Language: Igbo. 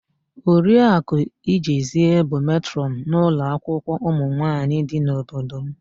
Oriaku Ijezie bụ matrọnụ n'ụlọakwụkwọ ụmụnwaanyị dị n'obodo m.